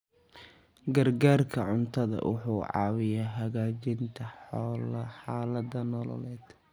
Gargaarka cuntadu wuxuu caawiyaa hagaajinta xaaladaha nololeed.